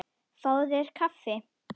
Fáðu þér kaffi.